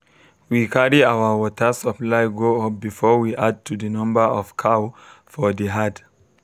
we carry our watr supply go up before we add to the number of cow for the herd